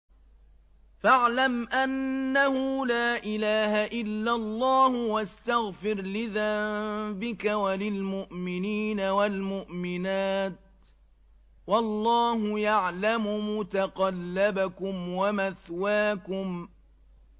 فَاعْلَمْ أَنَّهُ لَا إِلَٰهَ إِلَّا اللَّهُ وَاسْتَغْفِرْ لِذَنبِكَ وَلِلْمُؤْمِنِينَ وَالْمُؤْمِنَاتِ ۗ وَاللَّهُ يَعْلَمُ مُتَقَلَّبَكُمْ وَمَثْوَاكُمْ